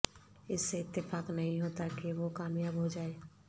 اس سے اتفاق نہیں ہوتا کہ وہ کامیاب ہوجائے